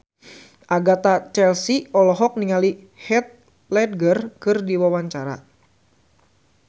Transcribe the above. Agatha Chelsea olohok ningali Heath Ledger keur diwawancara